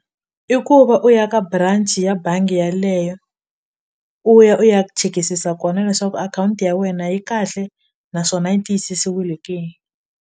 I ku va u ya ka branch ya bangi yaleyo u ya u ya chekisisa kona leswaku akhawunti ya wena yi kahle naswona yi tiyisisiwile ke.